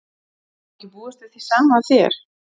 Má ekki búast við því sama af þér?